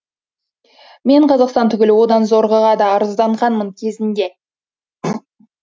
мен қазақстан түгіл одан зорғыға да арызданғанмын кезінде